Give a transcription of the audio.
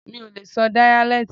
Mi ò lè sọ díyálẹ́tì.